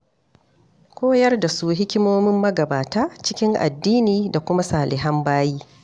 Koyar da su hikimomin magabata cikin addini da kuma salihan bayi.